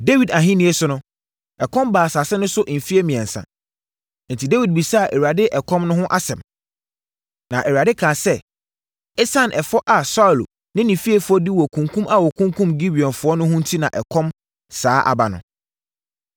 Dawid ahennie so no, ɛkɔm baa asase no so mfeɛ mmiɛnsa, enti Dawid bisaa Awurade ɛkɔm no ho asɛm. Na Awurade kaa sɛ, “Esiane ɛfɔ a Saulo ne ne fiefoɔ di wɔ kunkum a wɔkunkumm Gibeonfoɔ no ho enti na ɛkɔm saa aba no.”